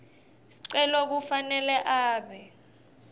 sicelo kufanele abe